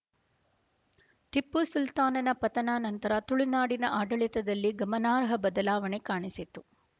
ಟಿಪ್ಪೂ ಸುಲ್ತಾನನ ಪತನಾ ನಂತರ ತುಳುನಾಡಿನ ಆಡಳಿತದಲ್ಲಿ ಗಮನಾರ್ಹ ಬದಲಾವಣೆ ಕಾಣಿಸಿತು